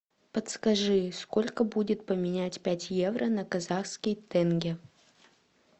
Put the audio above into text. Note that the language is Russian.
подскажи сколько будет поменять пять евро на казахский тенге